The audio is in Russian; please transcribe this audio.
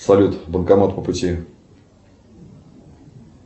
салют банкомат по пути